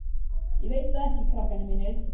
Ég veit það ekki, krakkar mínir.